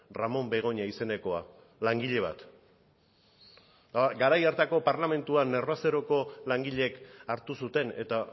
ramon begoña izenekoa langile bat eta garai hartako parlamentuan nervaceroko langileek hartu zuten eta